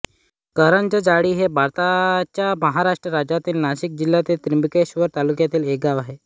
करंजजाळी हे भारताच्या महाराष्ट्र राज्यातील नाशिक जिल्ह्यातील त्र्यंबकेश्वर तालुक्यातील एक गाव आहे